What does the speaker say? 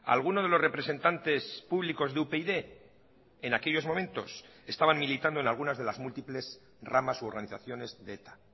alguno de los representantes públicos de upyd en aquellos momentos estaban militando en algunas de las múltiples ramas u organizaciones de eta